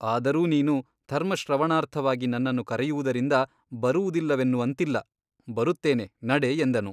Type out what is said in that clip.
ಅದರೂ ನೀನು ಧರ್ಮಶ್ರವಣಾರ್ಥವಾಗಿ ನನ್ನನ್ನು ಕರೆಯುವುದರಿಂದ ಬರುವುದಿಲ್ಲವೆನ್ನುವಂತಿಲ್ಲ ಬರುತ್ತೇನೆ ನಡೆ ಎಂದನು.